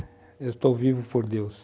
Eu estou vivo por Deus.